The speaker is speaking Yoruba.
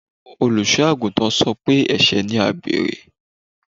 Olùsọ́ àgùntàn sọ pé ẹ̀sẹ̀ ni àgbèrè